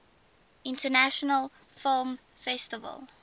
international film festival